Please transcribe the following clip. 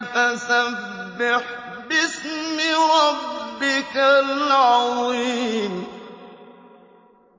فَسَبِّحْ بِاسْمِ رَبِّكَ الْعَظِيمِ